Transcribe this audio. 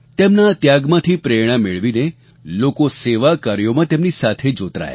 તેમના આ ત્યાગમાંથી પ્રેરણા મેળવીને લોકો સેવા કાર્યોમાં તેમની સાથે જોતરાયા